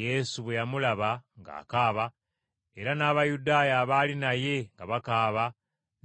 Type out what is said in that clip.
Yesu bwe yamulaba ng’akaaba era n’Abayudaaya abaali naye nga bakaaba